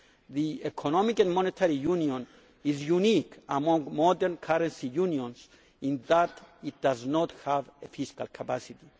The Economic and Monetary Union is unique among modern currency unions in that it does not have fiscal capacity.